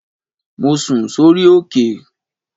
Mo sùn sórí òkè